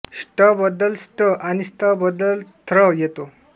ष्ट बद्दल स्ट आणि स्थ बद्दल र्थ येतो